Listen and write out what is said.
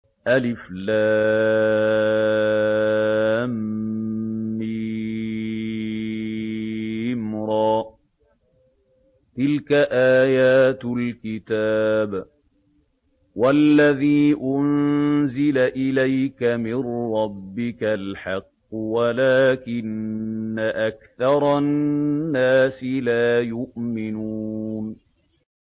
المر ۚ تِلْكَ آيَاتُ الْكِتَابِ ۗ وَالَّذِي أُنزِلَ إِلَيْكَ مِن رَّبِّكَ الْحَقُّ وَلَٰكِنَّ أَكْثَرَ النَّاسِ لَا يُؤْمِنُونَ